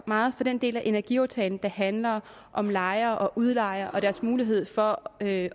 meget for den del af energiaftalen der handler om lejere og udlejere og deres mulighed for at